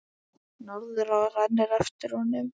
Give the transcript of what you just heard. Norðurá rennur eftir honum.